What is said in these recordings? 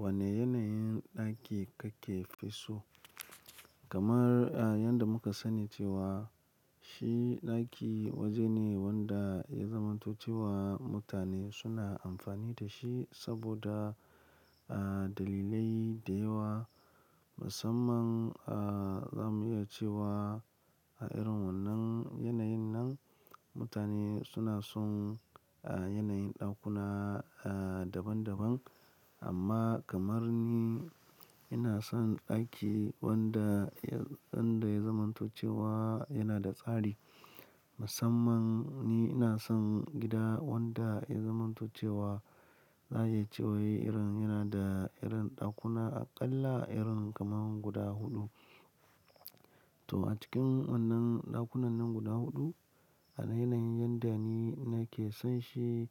Wane yanayin ɗaki kake so? Kamar yadda muka sani cewa shi ɗaki waje ne wanda ya zamanto cewa mutane suna amfani da shi saboda dalilai da yawa. Musamman za mu iya cewa a irin wannan yanayin nan mutane suna son yanayin ɗakuna daban daban. Amma kamar ni, ina son ɗaki wanda wanda ya zamantoce wa yana da tsari. Musammani ina son gida wanda ya zamantoce wa za a iya cewa yana da irin ɗakuna aƙalla irin kamar guda huɗu. To a cikin wannan ɗakunannan guda huɗu a yanayin yadda ni nake son shi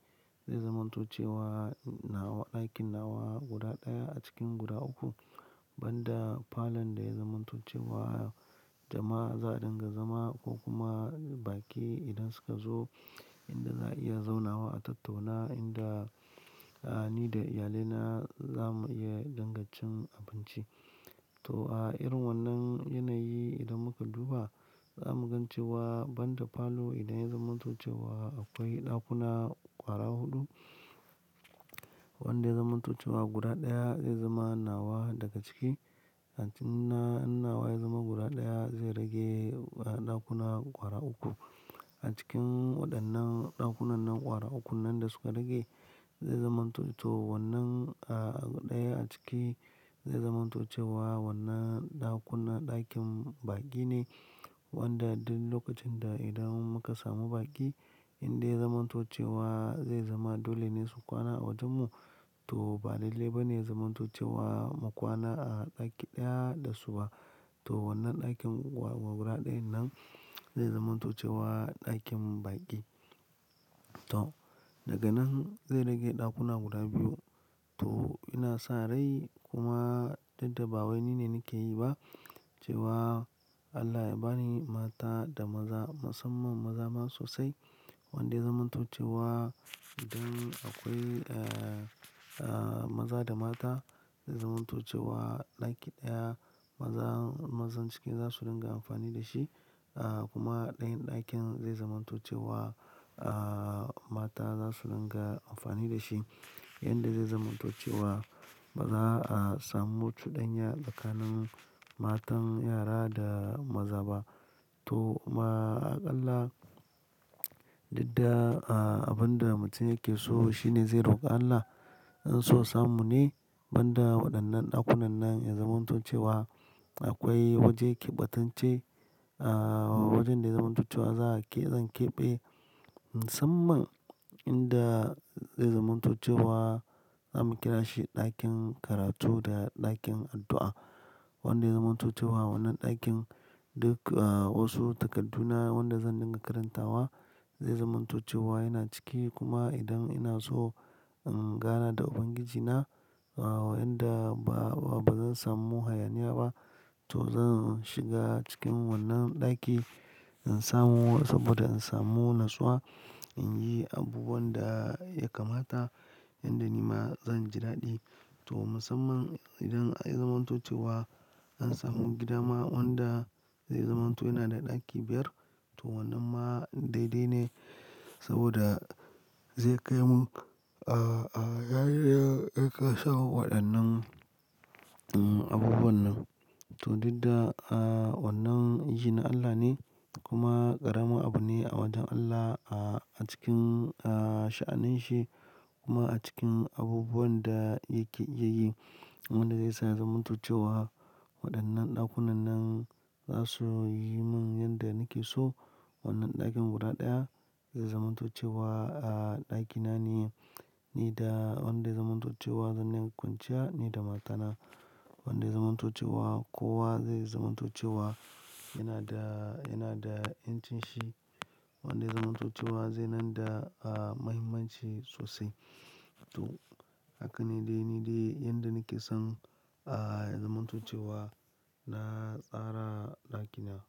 zai zamantoce wa nawa ɗakin nawa guda ɗaya a cikin guda uku. Banda falon da ya zamantoce wa jama'a za a dinga zama ko kuma baƙi idan suka zo inda za a iya zaunawa a tattauna inda ni da iyalaina za mu iya dingacin abinci. To a irin wannan yanayi idan muka duba za mu gan cewa banda falo idan ya zamantoce wa akwai ɗakuna ƙwara huɗu wanda ya zamantoce wa guda ɗaya zai zama nawa daga ciki. A cikin na nawa ya zama guda ɗaya zai rage ɗakuna ƙwara uku. A cikin waɗannan ɗakunannan ƙwara ukun nan da suka rage zai zamanto-to wannan a ɗaya a ciki zai zamantoce wa wannan ɗakuna ɗakin baƙi ne wanda duk lokacin da idan muka samu baƙi indai ya zamantoce wa zai zama dole ne su kwana a wajen mu. To ba lallai ba ne ya zamantoce wa mu kwana a ɗaki ɗaya da su ba. To wannan ɗakin wa guda ɗayan nan zai zamantoce wa ɗakin baƙi. To daga nan zai rage ɗakuna guda biyu. To ina sa rai kuma duddaba wai ni ne nake yi ba cewa Allah ya ba ni mata da maza musamman maza ma sosai wanda ya zamantoce wa idan akwai maza da mata zai zamantocewa ɗaki ɗaya. Maza mazan cikin za su dinga amfani da shi kuma ɗayan ɗakin zai zamantocewa mata za su dinga amfani da shi. Inda zai zamantocewa ba za a samu cudanya tsakanin matan yara da maza ba. To ma aƙalla didda abin da mutum yake so shine zai roƙa Allah. In so samu ne banda waɗannan ɗakunannan ya zamantocewa akwai waje keɓatance. Wajen da ya zamantocewa za a ke zan keɓe musamman inda zai zamantocewa za mu kira shi ɗakin karatu da ɗakin addu'a. Wanda ya zamantocewa wannan ɗakin duk wasu takadduna wanda zan dinga karantawa zai zamantocewa yana ciki. Kuma idan ina so in gana da Ubangijina yanda ba ba zan samu hayaniya ba to zan shiga cikin wannan ɗaki in samu saboda in samu natsuwa in yi abubuwan da ya kamata yanda ni ma zan ji daɗi. To musamman idan ai zamantocewa an samu gida ma wanda zai zamanto yana da ɗaki biyar to wannan ma daidai ne saboda zai kai mun a ya kai sawu waɗannan abubuwan nan. To didda wannan yin Allah ne kuma ƙaramin abu ne a wajen Allah a cikin sha'anin shi kuma a cikin abubuwan da yake iya yi wanda zai sa zamantocewa waɗannan ɗakunannan za su yi mun yanda nake so. Wannan ɗakin guda ɗaya zai zamantocewa ɗakina ne nida wanda ya zamantocewa zan yi kwanciya nida matana wanda ya zamantocewa kowa zai zamantocewa yana da yana da incinshi wanda ya zamantocewa zai nan da muhimmanci sosai. To haka ne dai nidai yanda nake son ya zamantocewa na tsara ɗakina.